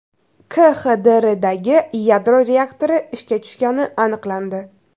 KXDRdagi yadro reaktori ishga tushgani aniqlandi.